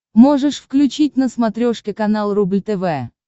можешь включить на смотрешке канал рубль тв